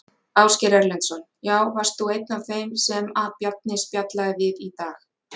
Ásgeir Erlendsson: Já, varst þú einn af þeim sem að Bjarni spjallaði við í dag?